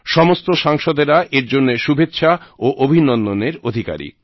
সমস্ত সাংসদেরা এর জন্য শুভেচ্ছা ও অভিনন্দনের অধিকারি